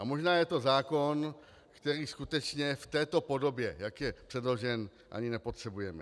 A možná je to zákon, který skutečně v této podobě, jak je předložen, ani nepotřebujeme.